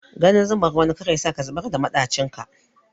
Ganin zumar wani kar yasa ka zubar da maɗacin ka.